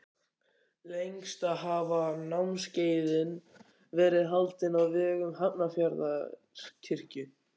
Lengst af hafa námskeiðin verið haldin á vegum Hafnarfjarðarkirkju.